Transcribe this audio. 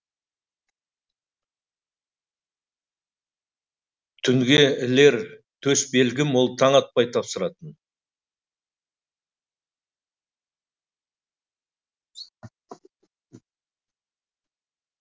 түнге ілер төс белгім ол таң атпай тапсыратын